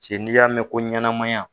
Cɛ ni y'a mɛn ko ɲɛnɛmayan.